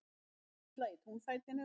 Þyrla í túnfætinum